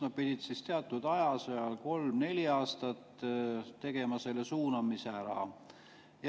Nad pidid teatud aja, kolm kuni neli aastat töötama, tegema selle suunamisaja ära.